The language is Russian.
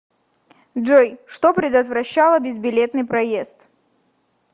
джой что предотвращало безбилетный проезд